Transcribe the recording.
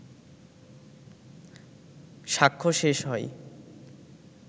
সাক্ষ্য শেষ হয়